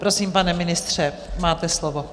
Prosím, pane ministře, máte slovo.